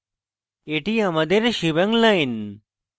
এটি আমাদের shebang line